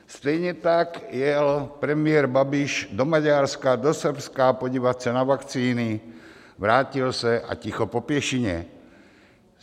Stejně tak jel premiér Babiš do Maďarska, do Srbska podívat se na vakcíny, vrátil se a ticho po pěšině.